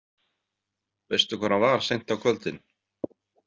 Veistu hvar hann var seint á kvöldin?